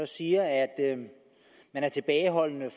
siger at man er tilbageholdende